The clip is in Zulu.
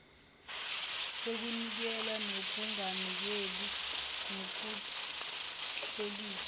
yokunikela nokunganikeli nokuklelisa